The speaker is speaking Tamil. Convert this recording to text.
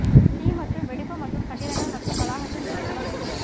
தீ மற்றும் வெடிப்பு மற்றும் கட்டிடங்கள் மற்றும் வளாகத்தின் வெடிப்பு வகைகள்